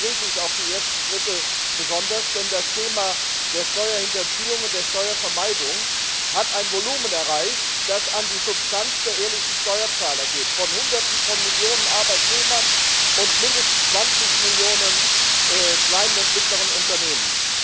Deshalb begrüße ich auch die ersten Schritte, denn das Thema der Steuerhinterziehung und der Steuervermeidung hat ein Volumen erreicht, das an die Substanz der ehrlichen Steuerzahler geht, von Hunderten von Millionen Arbeitnehmern und mindestens 20 Millionen kleinen und mittleren Unternehmen.